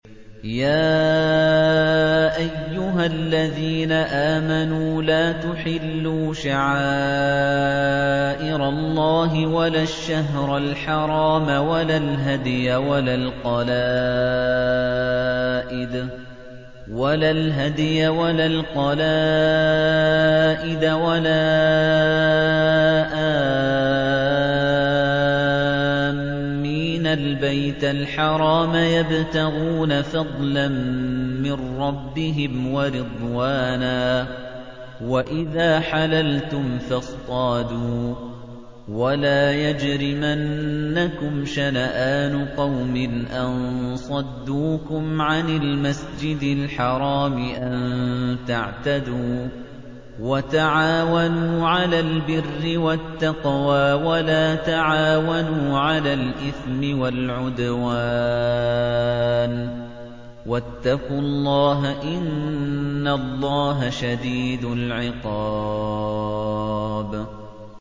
يَا أَيُّهَا الَّذِينَ آمَنُوا لَا تُحِلُّوا شَعَائِرَ اللَّهِ وَلَا الشَّهْرَ الْحَرَامَ وَلَا الْهَدْيَ وَلَا الْقَلَائِدَ وَلَا آمِّينَ الْبَيْتَ الْحَرَامَ يَبْتَغُونَ فَضْلًا مِّن رَّبِّهِمْ وَرِضْوَانًا ۚ وَإِذَا حَلَلْتُمْ فَاصْطَادُوا ۚ وَلَا يَجْرِمَنَّكُمْ شَنَآنُ قَوْمٍ أَن صَدُّوكُمْ عَنِ الْمَسْجِدِ الْحَرَامِ أَن تَعْتَدُوا ۘ وَتَعَاوَنُوا عَلَى الْبِرِّ وَالتَّقْوَىٰ ۖ وَلَا تَعَاوَنُوا عَلَى الْإِثْمِ وَالْعُدْوَانِ ۚ وَاتَّقُوا اللَّهَ ۖ إِنَّ اللَّهَ شَدِيدُ الْعِقَابِ